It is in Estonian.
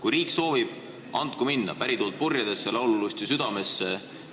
Kui riik soovib, andku minna – pärituult purjedesse, laululusti südamesse!